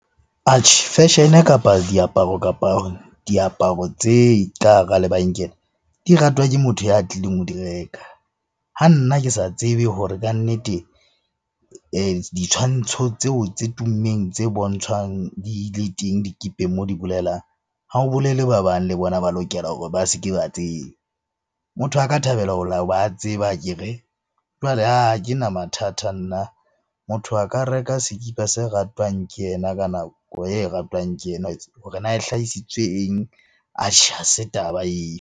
Atjhe, fashion-e kapa diaparo, kapa diaparo tse ka hara lebenkele di ratwa ke motho ya tlileng ho di reka. Ha nna ke sa tsebe hore kannete ditshwantsho tseo tse tummeng tse bontshwang di le teng dikipeng moo di bolelang, ha ho bolele ba bang le bona ba lokela hore ba se ke ba tseba. Motho a ka thabela a tseba akere? Jwale ke na mathata nna, motho a ka reka sekipa se ratwang ke yena ka nako e ratwang ke yena hore na e hlahisitswe eng? Atjhe ha se taba eo.